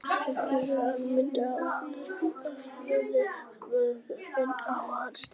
Stuðningsfjölskyldur mynda náin tengsl við börnin sem þær taka inn á heimili sitt.